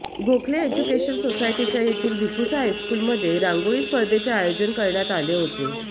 Gokhale education सोसायटीच्या येथील भिकुसा हायस्कूलमध्ये रांगोळी स्पर्धेचे आयोजन करण्यात आले होते